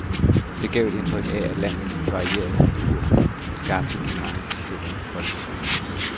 Det gav et indtryk af landets meget varierede kultur, skabt af de mange forskellige folkeslag.